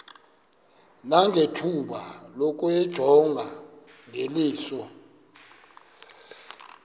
nangethuba lokuyijonga ngeliso